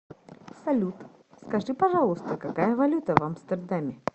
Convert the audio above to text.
салют скажи пожалуйста какая валюта в амстердаме